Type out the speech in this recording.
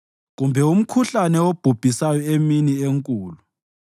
kumbe ingozi ehahabela emnyameni, kumbe umkhuhlane obhubhisayo emini enkulu.